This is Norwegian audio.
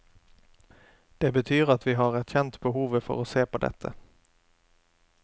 Det betyr at vi har erkjent behovet for å se på dette.